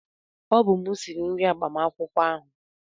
Ọ bụ m sịrị nri agbamakwụkwọ ahụ